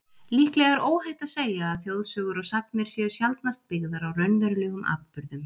Líklega er óhætt að segja að þjóðsögur og sagnir séu sjaldnast byggðar á raunverulegum atburðum.